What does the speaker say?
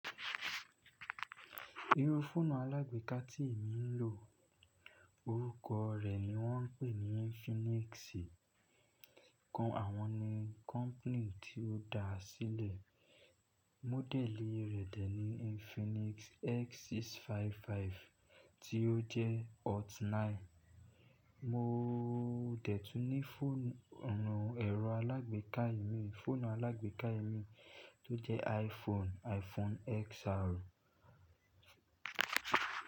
Irú fóònù alágbéka tí èmi ń lò, orúkọ rẹ̀ ni wọ́n ń pè ní Infinix. Kan àwọn ni company tí ó dá a sílẹ̀. Módẹ̀lì rẹ̀ dẹ̀ ní Infinix X655 tí ó jẹ́ Hot 9. Mo dẹ̀tùn ní fóònù ẹ̀rọ alágbéka ìmí, fóònù alágbéka ìmí tó jẹ́ iPhone, iPhone XR.